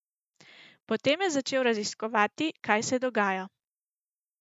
Potem je začel raziskovati, kaj se dogaja.